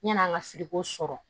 Yan'an ka siri ko sɔrɔ